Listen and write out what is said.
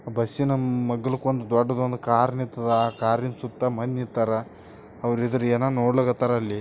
ಬಸ್ಸಿನ ಮಗ್ಗಲಕೊಂದ ದೊಡ್ಡದೊಂದ ಕಾರ ನಿಂತಾದ ಆ ಕಾರಿನ ಸುತ್ತ ಮಂದಿ ನಿಂತರ ಅವರು ಇದ್ದಾರಾ ಏನ ನೋಡಾಕತ್ತಾರ .